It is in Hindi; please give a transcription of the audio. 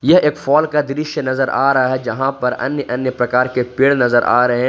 यह एक फोल का दृश्य नजर आ रहा है जहां पर अन्य अन्य प्रकार के पेड़ नजर आ रहे--